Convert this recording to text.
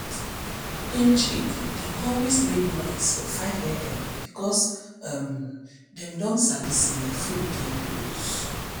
dem chick dey always make noise for 5am because um dem don sabi say food dey close